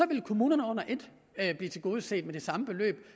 vil kommunerne under et blive tilgodeset med det samme beløb